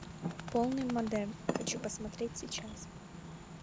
полный модерн хочу посмотреть сейчас